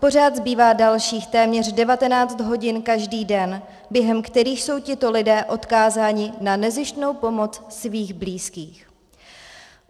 Pořád zbývá dalších téměř 19 hodin každý den, během kterých jsou tito lidé odkázáni na nezištnou pomoc svých blízkých.